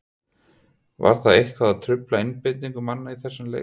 Var það eitthvað að trufla einbeitingu manna í þessum leik?